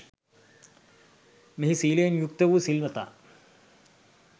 මෙහි සීලයෙන් යුක්ත වූ සිල්වතා